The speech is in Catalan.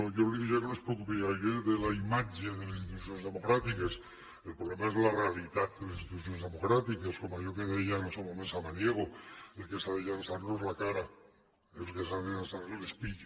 jo li diria que no es preocupi gaire de la imatge de les institucions democràtiques el problema és la realitat de les institucions democràtiques com allò que deia en el seu moment samaniego el que s’ha de llançar no és la cara el que s’ha de llançar és l’espill